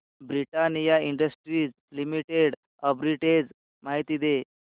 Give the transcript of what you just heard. Britannia industries limited arbitrage माहिती दे